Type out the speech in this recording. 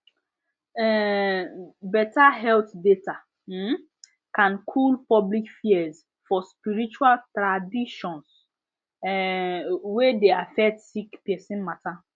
um better health data um can cool public fears for spirtual traaditions um wey dey affect sick person matter